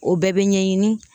O bɛɛ bɛ ɲɛɲini